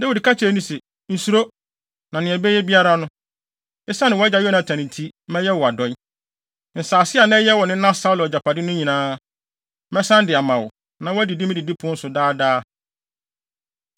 Dawid ka kyerɛɛ no se, “Nsuro, na nea ɛbɛyɛ biara no, esiane wʼagya Yonatan nti, mɛyɛ wo adɔe. Nsase a na ɛyɛ wo nena Saulo agyapade no nyinaa, mɛsan de ama wo, na woadidi me didipon so daa daa.”